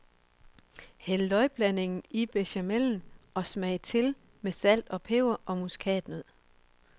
Hæld løgblandingen i bechamelen, og smag til med salt, peber og muskatnød.